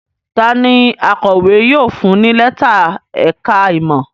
Ta ni akọ̀wé yóò fún ní lẹ́tà ẹ̀ka-ìmọ̀?